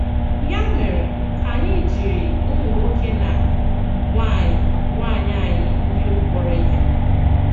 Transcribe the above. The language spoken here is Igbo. Ya mèré, ka ànyị̀ jiri ùmụ̀ nwòkè na nwànyị̀ nwànyị̀ ànyị̀ ndị ogbi k̀pọ̀rọ̀ ihe!